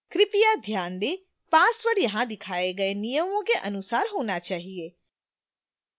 कृपया ध्यान देंpassword यहाँ दिखाए गए नियमों के अनुसार होना चाहिए